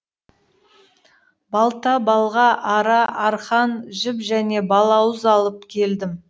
балта балға ара арқан жіп және балауыз алып келдім